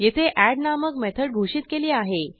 येथे addनामक मेथड घोषित केली आहे